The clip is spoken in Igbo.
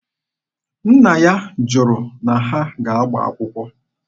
Nna ya jụrụ na ha ga-agba akwụkwọ.